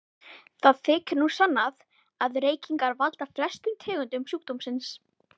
Það þykir nú sannað að reykingar valda flestum tegundum sjúkdómsins.